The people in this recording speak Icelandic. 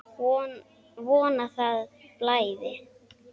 Von að það blæði!